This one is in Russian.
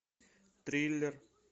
триллер